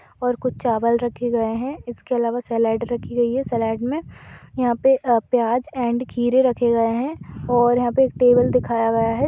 और कुछ चावल रखे गए हैं इसके अलावा सेलड़ रखी गई है | सेलड़ में यहाँ पे प्याज़ एण्ड खीरे रखे गए हैं और यहाँ पर टेबल दिखाया गया है।